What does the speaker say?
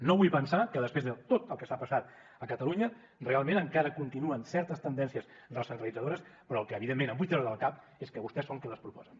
no vull pensar que després de tot el que s’ha passat a catalunya realment encara continuen certes tendències recentralitzadores però el que evidentment em vull treure del cap és que vostès són qui les proposen